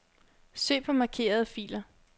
Søg på markerede filer.